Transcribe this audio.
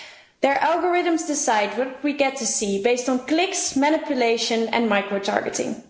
Their algorithms decide what we get to see, based on clicks, manipulation and micro-targeting.